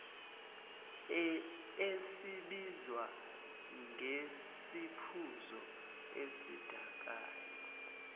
esibizwa ngesiphuzo esidakayo